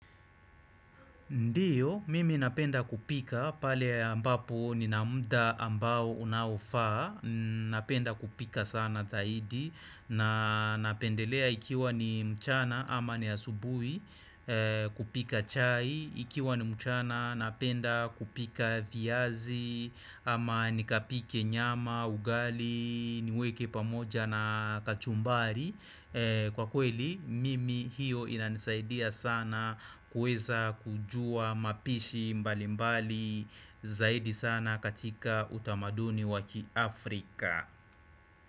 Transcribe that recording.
Ndiyo, mimi napenda kupika, pale ambapo nina muda ambao unaofaa, napenda kupika sana zaidi, na napendelea ikiwa ni mchana ama ni asubui, kupika chai, ikiwa ni mchana napenda kupika viazi, ama nikapike nyama, ugali, niweke pamoja na kachumbari. Kwa kweli mimi hiyo inanisaidia sana kuweza kujua mapishi mbalimbali zaidi sana katika utamaduni wakiafrika.